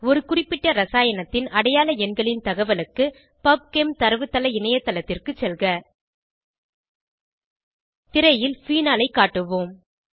ஒரு குறிப்பிட்ட இரசாயனத்தின் அடையாள எண்களின் தகவலுக்கு பப்செம் தரவுத்தள இணையத்தளத்திற்கு செல்க திரையில் ஃபீனாலை காட்டுவோம்